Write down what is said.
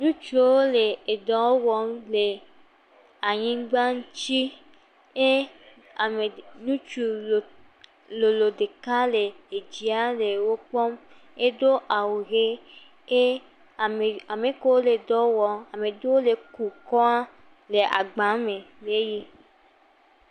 Ŋutsuawo le edɔ wɔm le anyigba ŋuti ye ame ŋutsu lo…lolo ɖeka le edzia le wokpɔm, edo awu ʋe ke amekewo le dɔwɔm, ame ɖewo le ku kɔa le agba me eye.